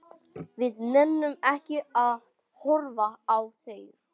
Við nennum ekki að horfa á þær.